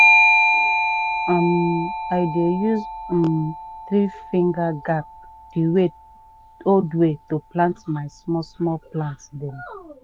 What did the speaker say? um i dey use um three-finger gap the old way to plant my small-small plant dem.